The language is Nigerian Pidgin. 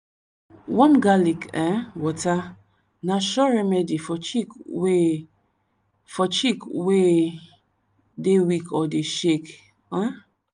warm garlic um water na sure remedy for chick wey for chick wey dey weak or dey shake. um